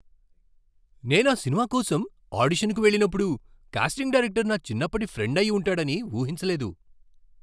నేను ఆ సినిమా కోసం ఆడిషన్కు వెళ్ళినప్పుడు, కాస్టింగ్ డైరెక్టర్ నా చిన్నప్పటి ఫ్రెండ్ అయి ఉంటాడని ఊహించలేదు.